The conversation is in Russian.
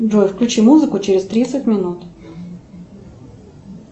джой включи музыку через тридцать минут